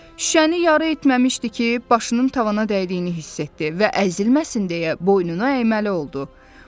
Şüşəni yarı etməmişdi ki, başının tavana dəydiyini hiss etdi və əzilməsin deyə boynunu əyməli oldu.